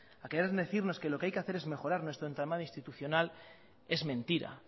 a querer decirnos que lo que hay que hacer es mejorar nuestro entramado institucional es mentira